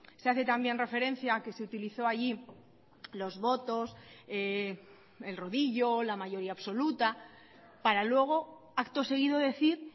se hace también referencia a que se utilizó allí los votos el rodillo o la mayoría absoluta para luego acto seguido decir